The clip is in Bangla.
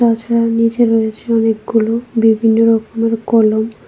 এছাড়া নীচে রয়েছে অনেকগুলো বিভিন্ন রকমের কলম।